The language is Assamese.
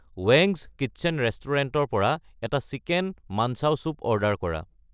ৱেংগছ্‌ কিটচেন ৰেস্তোৰাঁৰ পৰা এটা চিকেন মানঞ্চাউ চুপ অৰ্ডাৰ কৰা